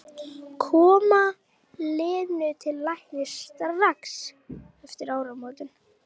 Koma Lenu til læknis strax eftir áramótin.